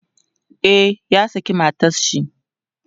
e ya saki matanshi